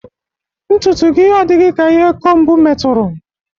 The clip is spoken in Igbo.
Ntụtụ gị adịghị ka ihe kombu metụrụ